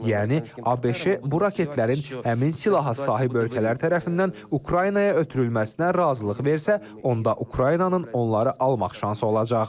Yəni ABŞ bu raketlərin həmin silaha sahib ölkələr tərəfindən Ukraynaya ötürülməsinə razılıq versə, onda Ukraynanın onları almaq şansı olacaq.